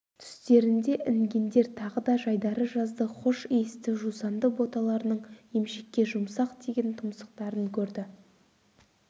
түстерінде інгендер тағы да жайдары жазды хош иісті жусанды боталарының емшекке жұмсақ тиген тұмсықтарын көрді